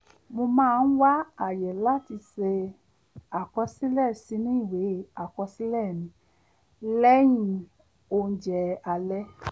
mo máa ń wá àyè láti ṣe àkọsílẹ̀ sínú ìwé àkosílẹ̀ mi lẹ́yìn oúnjẹ alẹ́